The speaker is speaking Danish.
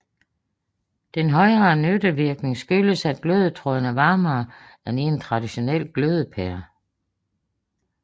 Den højere nyttevirkning skyldes at glødetråden er varmere end i en traditionel glødepære